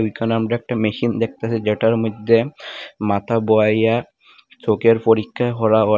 ওইখানে আমরা একটা মেশিন দেখতাছি যেটার মইধ্যে মাথা বোওইয়া চোখের পরীক্ষা করা হয়।